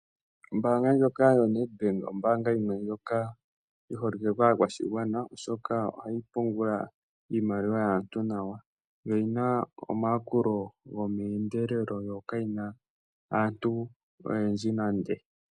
Ombaanga ndjoka yoNedbank ombaanga yimwe ndjoka yi holike kaakwashigwana, oshoka ohayi pungula iimaliwa yaantu nawa. Yo oyi na omayakulo gomeendelelo yo kayi na aantu oyendji nande.